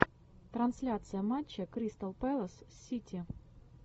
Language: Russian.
трансляция матча кристал пэлас с сити